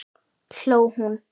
hló hún.